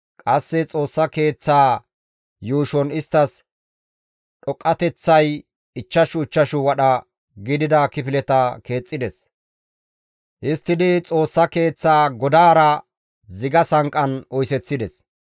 Qasse Xoossa keeththaa yuushon isttas dhoqqateththay ichchashu ichchashu wadha gidida kifileta keexxides; histtidi Xoossa Keeththa godaara ziga sanqqan oyseththides.